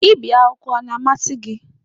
Ibi akwụkwọ a na-amasị gị?